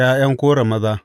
Ta ’Ya’yan Kora maza.